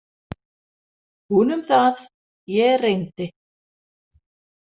Hún um það, ég reyndi.